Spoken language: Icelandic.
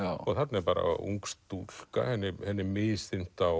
og þarna er bara ung stúlka henni henni er misþyrmt á